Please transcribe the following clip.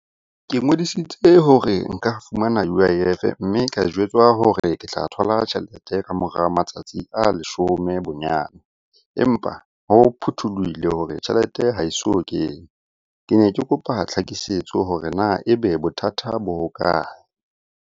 Ke ngodisitse hore nka fumana U_I_F-e, mme ka jwetswa hore ke tla thola tjhelete ka mora matsatsi a leshome bonyane. Empa ho phuthulohile hore tjhelete ha e so kene. Ke ne ke kopa tlhakisetso hore na e be bothata bo hokae?